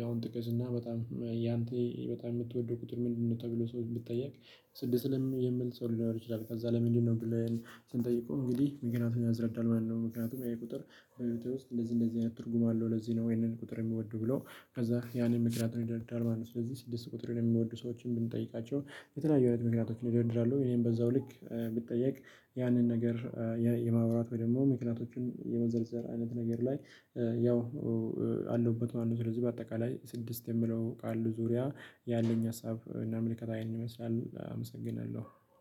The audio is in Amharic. ያውም ጥቅስ እና በጣም ያንተ በጣም የምትወደው ቁጥር ምንድነው? ተብሎ ሰው የምትጠየቅ ስድስት ልም የምል ሰው ሊኖር ይችላል። ከዛ ለምንድነው ብለን ስንጠይቀው እንግዲህ ምክንያቱም ያስረዳል ማለት ነው። ምክንያቱም ይሄ ቁጥር በህይወቴ ውስጥ እንደዚህ እንደዚህ አይነት ትርጉም አለው። ለዚህ ነው ይሄንን ቁጥር የሚወደው ብሎ ከዛ ያንን ምክንያቱን ይደረድራል ማለት ነው። ስለዚህ ስድስት ቁጥር የሚወዱ ሰዎችን ብንጠይቃቸው የተለያዩ እውነት ምክንያቶችን ይደረድራሉ። እኔም በዛው ልክ ብጠየቅ ያንን ነገር የማውራት ወይ ደግሞ ምክንያቶችን የመዘርዘር አይነት ነገር ላይ ያው አለውበት ማለት ነው። ስለዚህ በአጠቃላይ ስድስት የምለው ቃል ዙሪያ ያለኝ ሀሳብ እና ምልከታ ነኝ ይመስላል። አመሰግናለሁ።